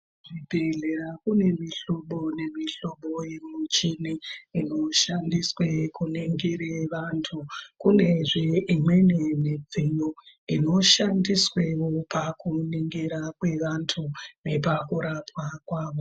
Kuzvibhedhlera kune mihlobo nemihlobo yemuchini inoshandiswe kuningire vantu. Kunezve imweni midziyo inoshandiswewo pakunigira kwevantu nepakurapwa kwavo.